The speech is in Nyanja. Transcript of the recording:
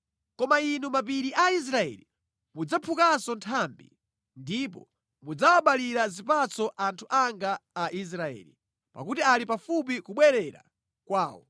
“Koma Inu mapiri a Israeli mudzaphukanso nthambi ndipo mudzawabalira zipatso anthu anga a Israeli, pakuti ali pafupi kubwerera kwawo.